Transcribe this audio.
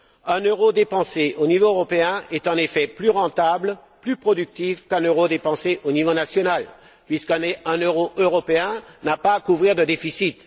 Un euro dépensé au niveau européen est en effet plus rentable, plus productif qu'un euro dépensé au niveau national, puisqu'un euro européen n'a pas à couvrir de déficit.